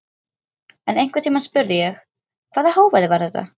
En einhvern tímann spurði ég: Hvaða hávaði var þetta?